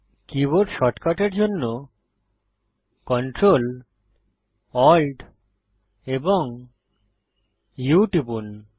keyboard শর্টকাটের জন্য Ctrl Alt এবং U টিপুন